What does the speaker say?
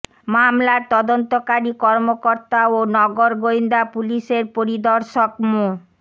মামলার তদন্তকারী কর্মকর্তা ও নগর গোয়েন্দা পুলিশের পরিদর্শক মো